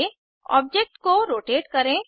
आगे ऑब्जेक्ट को रोटेट करें